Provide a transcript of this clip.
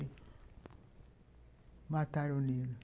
Mataram o Nilo.